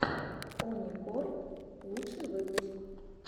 оникорп лучший выпуск